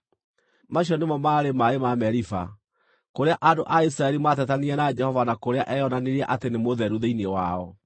Macio nĩmo maarĩ maaĩ ma Meriba, kũrĩa andũ a Isiraeli maatetanirie na Jehova na kũrĩa eyonanirie atĩ nĩ mũtheru thĩinĩ wao.